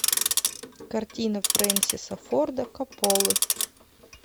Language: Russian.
картина фрэнсиса форда копполы